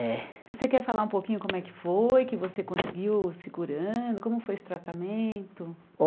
É. Você quer falar um pouquinho como é que foi, que você conseguiu se curando, como foi esse tratamento?